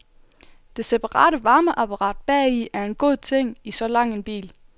Det separate varmeapparat bagi er en god ting i så lang en bil.